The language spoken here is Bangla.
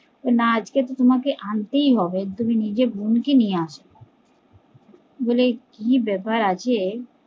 বলে না আজকে তো তোমাকে আনতেই হবে তুমি নিজের বোন কে নিয়ে আসো বলে কি ব্যাপার আছে